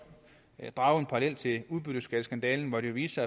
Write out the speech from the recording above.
drage en parallel til udbytteskatskandalen hvor det jo viste